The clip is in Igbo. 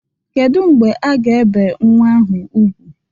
Kedu mgbe a ga-ebe nnwa ahụ ugwu?